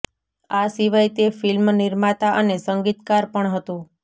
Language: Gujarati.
આ સિવાય તે ફિલ્મ નિર્માતા અને સંગીતકાર પણ હતો